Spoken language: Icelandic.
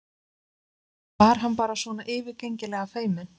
Eða var hann bara svona yfirgengilega feiminn?